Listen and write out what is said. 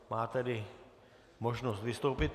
Má tedy možnost vystoupit.